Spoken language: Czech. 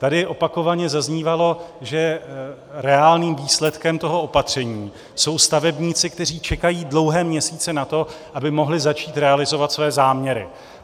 Tady opakovaně zaznívalo, že reálným výsledkem toho opatření jsou stavebníci, kteří čekají dlouhé měsíce na to, aby mohli začít realizovat svoje záměry.